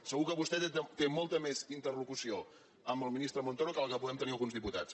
segur que vostè té molta més interlocució amb el ministre montoro que la que puguem tenir alguns diputats